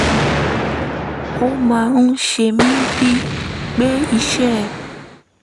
ó máa ń ṣe mí bíi pé iṣẹ́